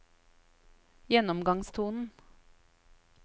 gjennomgangstonen